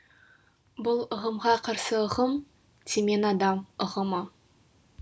бұл ұғымға қарсы ұғым темен адам ұғымы